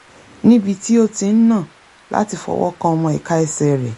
níbi tí ó ti ń nà láti fọwọ́ kan ọmọ ìka ẹsẹ̀ rẹ̀